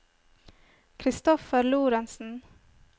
Christopher Lorentsen